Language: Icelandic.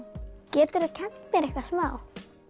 geturðu kennt mér eitthvað smá